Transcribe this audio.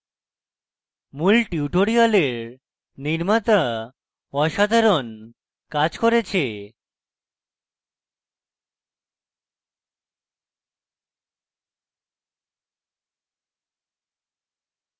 মূল tutorial নির্মাতা অসাধারণ কাজ করেছে